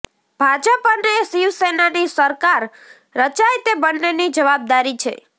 ભાજપ અને શિવસેનાની સરકાર રચાય તે બંનેની જવાબદારી છે